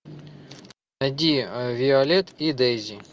найди виолет и дейзи